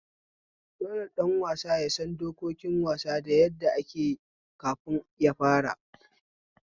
Dole ɗan wasa yasan dokokin wasa da yadda akeyi kafin yafara